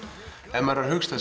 ef maður er að hugsa